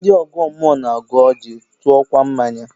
Ndị ọgọ mmụọ na-agọ ọjị, tụọkwa mmanya